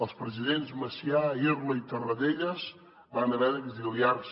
els presidents macià irla i tarradellas van haver d’exiliar se